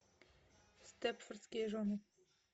степфордские жены